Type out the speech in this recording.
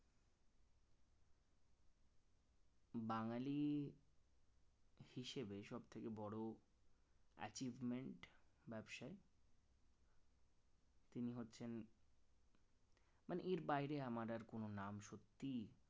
বাঙালি হিসেবে সবচাইতে বড় achievement ব্যবসায় তিনি হচ্ছেন মানে এর বাইরে আমার আর কোন নাম সত্যিই